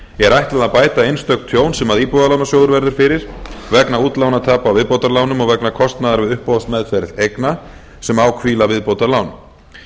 er ætlað að bæta einstök tjón sem íbúðalánasjóður verður fyrir vegna útlánatapa á viðbótarlánum og vegna kostnaðar við uppboðsmeðferð eigna sem á hvíla viðbótarlán